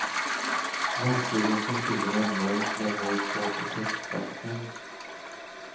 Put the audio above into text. Verktygen som tjuven använt lämnades kvar på brottsplatsen.